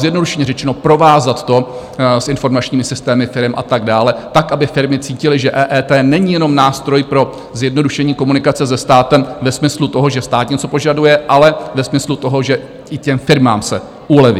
Zjednodušeně řečeno, provázat to s informačními systémy firem a tak dále, tak aby firmy cítily, že EET není jenom nástroj pro zjednodušení komunikace se státem ve smyslu toho, že stát něco požaduje, ale ve smyslu toho, že i těm firmám se uleví.